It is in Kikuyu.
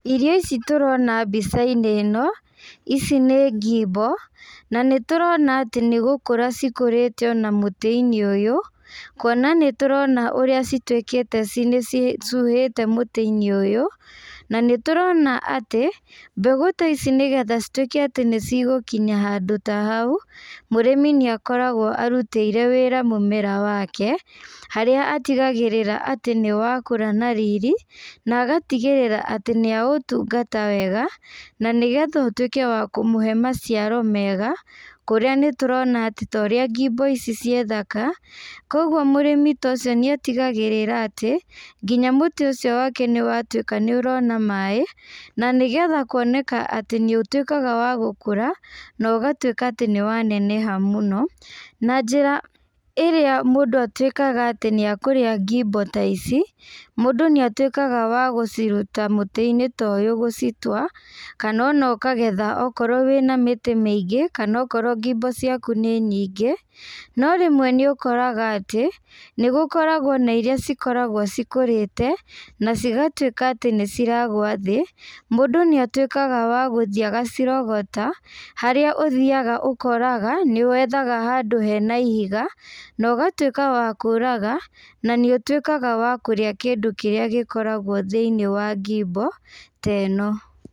Irio ici tũrona mbicainĩ ĩno, ici nĩ ngimbo, na nĩtũrona atĩ nĩgũkũra cikũrĩte ona mũtĩ-inĩ ũyũ, kuona nĩtũrona ũrĩa cituĩkĩte ci nĩcicuhĩte mũtĩi-nĩ ũyũ, na nĩtũrona atĩ, mbegũ ta ici nĩgetha cituĩke atĩ nĩcigũkinya handũ ta hau, mũrĩmi nĩakoragwo arutĩire wĩra memera wake, harĩa atigagĩrĩra atĩ nĩwakũra na riri, na agatigĩrĩra atĩ nĩatungata wega, na nĩgetha ũtuĩke wa kũmũhe maciaro mega, kũrĩa nĩtũrona atĩ torĩa ngimbo ici ciĩ thaka, koguo mũrĩmi ta ũcio nĩatigagĩrĩra atĩ, nginya mũtĩ ũcio wake nĩwatuĩka nĩũrona maĩ, na nĩgetha kuoneka atĩ nĩũtuĩkaga wa gũkũra, na ũgatuĩka atĩ nĩwaneneha mũno, na njĩra ĩrĩa mũndũ atuĩkaga atĩ nĩakũrĩa ngimbo ta ici, mandũ nĩatuĩkaga wa gũciruta mũtĩinĩ ta ũyũ gũcitwa, kana ona ũkagetha okorwo wĩna mĩtĩ mĩingĩ, kana okorwo ngimbo ciaku nĩ nyingĩ, no rĩmwe nĩũkoraga atĩ, nĩgũkoragwo na iria cikoragwo cikũrĩte, na cigatuĩka atĩ nĩciragwa thĩ, mũndũ nĩatuĩkaga wa gũthiĩ agacirogota, harĩa ũthiaga ũkoraga, nĩwethaga handũ hena ihiga, na ũgatuĩka wa kũraga, na nĩũtuĩkaga wa kũrĩa kĩndũ kĩrĩa gĩkoragwo thiĩĩ wa ngimbo ta ĩno.